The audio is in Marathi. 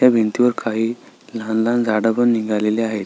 ह्या भिंतीवर काही लहान लहान झाड पण निघालेली आहेत.